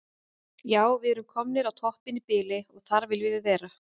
Sjá svar Viðars Guðmundssonar við spurningunni: Hvað verður um hreyfingar efniseinda við alkul?